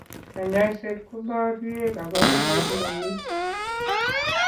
Kanyoiset koborye kabarunoik ndo mi.